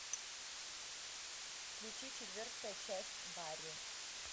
включи четвертая часть барри